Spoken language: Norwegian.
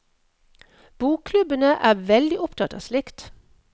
Bokklubbene er veldig opptatt av slikt.